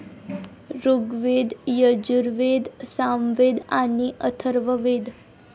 ऋग्वेद, यजुर्वेद, सामवेद आणि अथर्ववेद.